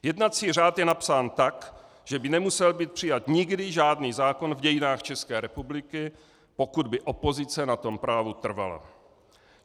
Jednací řád je napsán tak, že by nemusel být přijat nikdy žádný zákon v dějinách České republiky, pokud by opozice na tom právu trvala.